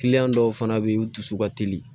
dɔw fana bɛ yen u dusu ka teli